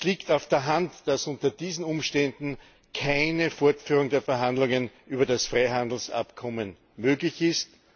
Es liegt auf der Hand, dass unter diesen Umständen keine Fortführung der Verhandlungen über das Freihandelsabkommen möglich ist.